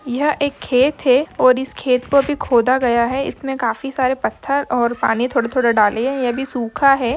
यह एक खेत हैं और इस खेत को अभी खोदा गया हैं इसमें काफी सारे पत्थर और पानी थोड़े थोड़े डालें है ये अभी सूखा हैं।